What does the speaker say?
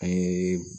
An ye